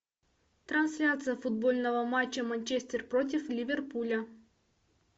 трансляция футбольного матча манчестер против ливерпуля